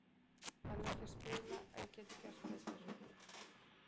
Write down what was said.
Hann er ekki að spila illa, en getur gert betur.